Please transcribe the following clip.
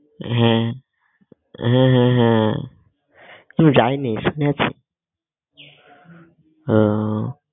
হ্যাঁ হ্যাঁ হ্যাঁ হ্যাঁ আমি যাইনি শুনেছি আহ